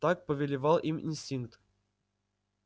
так повелевал им инстинкт